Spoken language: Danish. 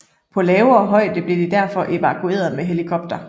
På lavere højde blev de derfor evakueret med helikopter